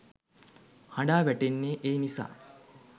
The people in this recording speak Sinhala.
හඬා වැටෙන්නේ ඒ නිසා.